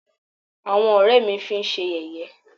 àwọn ọ̀rẹ́ ẹ́ mí fi ṣé yẹ̀yẹ́.